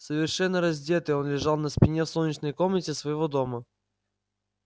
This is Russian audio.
совершенно раздетый он лежал на спине в солнечной комнате своего дома